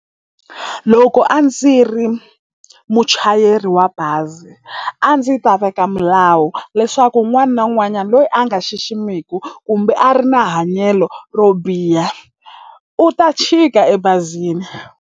Loko a ndzi ri muchayeri wa bazi a ndzi ta veka milawu leswaku un'wani na un'wanyani loyi a nga xiximeku kumbe a ri na hanyelo ro biha u ta chika ebazini.